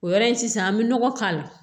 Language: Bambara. O yɔrɔ in sisan an bɛ nɔgɔ k'a la